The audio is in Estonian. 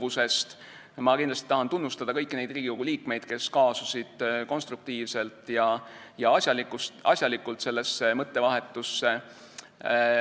Ma tahan kindlasti tunnustada kõiki neid Riigikogu liikmeid, kes kaasusid konstruktiivselt ja asjalikult sellesse mõttevahetusse.